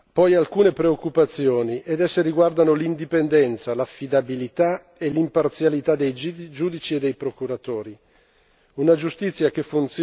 Rimangono però alcune preoccupazioni, che riguardano l'indipendenza, l'affidabilità e l'imparzialità dei giudici e dei procuratori.